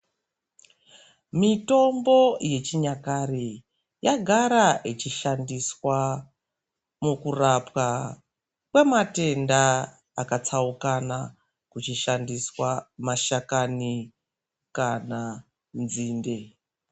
Mitombo yechinyakare yagara ichishandiswa mukurapwa kwematenda akatsaukana, kuchishandiswa mashakani kana nzinde.